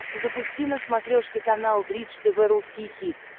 запусти на смотрешке канал бридж тв русский хит